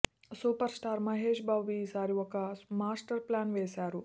super star Mahesh Babu ఈ సారి ఓ మాస్టర్ ప్లాన్ వేసారు